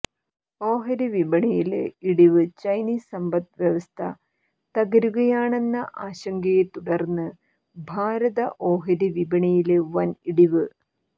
ഓഹരിവിപണിയില് ഇടിവ് ചൈനീസ് സമ്പദ്വ്യവസ്ഥ തകരുകയാണെന്ന ആശങ്കയെത്തുടര്ന്ന് ഭാരത ഓഹരി വിപണിയില് വന് ഇടിവ്